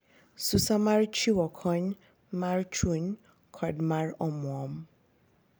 Susa mar chiwo kony mar chuny kod mar omwom .